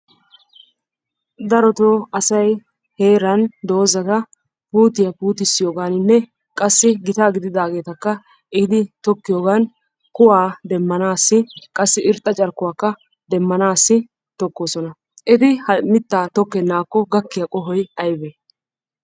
Darotoo asay heeran dozata puutiya puutissiyogaaninne qassi gitaa gididaageetakka ehidi tokkiyogan kuwaa demmanaassi qassi irxxa carkkuwakka demmanaassi tokkoosona. Eti ha mittaa tokkennaakko gakkiya qohoy ayibee?